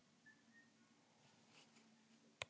Það er öllum sama þótt einn skrýtinn náungi geri á sig.